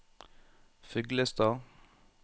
Fuglestad